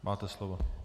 Máte slovo.